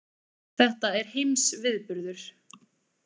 Þetta er heimsviðburður.